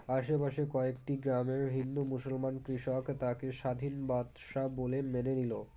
আশেপাশের কয়েকটি গ্রামের হিন্দু মুসলমান কৃষক তাকে স্বাধীন বাদশাহ বলে মেনে নিলো